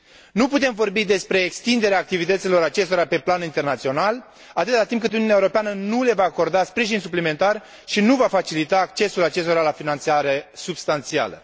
Nu putem vorbi despre extinderea activității acestora pe plan internațional atâta timp cât Uniunea Europeană nu le va acorda sprijin suplimentar și nu va facilita accesul acestora la finanțare substanțială.